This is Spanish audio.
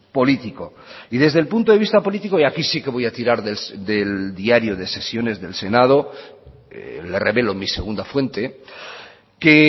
político y desde el punto de vista político y aquí sí que voy a tirar del diario de sesiones del senado le revelo mi segunda fuente que